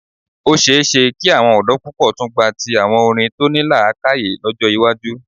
Ó ṣe é ṣe kí àwọn ọ̀dọ́ púpọ̀ tún gba ti àwọn orin tó ní làákàyè lọ́jọ́ iwájú.